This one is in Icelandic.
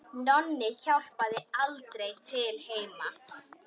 Nonni hjálpar aldrei til heima.